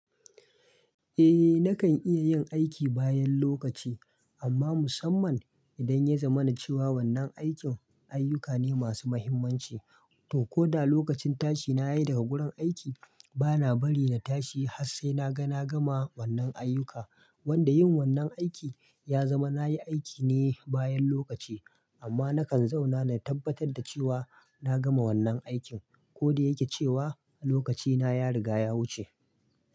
Eh nakan iya yin aiki bayan lokaci, amma musamman idan ya zama na cewa wannan aikin ayyuka ne masu muhimmanci. To koda lokacin tashi na yi daga gurin aiki, bana bari na tashi har sai na ga na gama wannan ayyuka. Wanda yin wannan aiki ya zama na yi aiki ne bayan lokaci. Amma nakan zauna na tabbatar da cewa na gama wannan aikin ko da yake cewa lokaci na ya riga ya wuce.